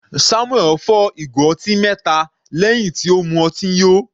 Samuel fọ́ ìgò ọtí mẹta lẹ́hìn tí ó mu ọtí yó.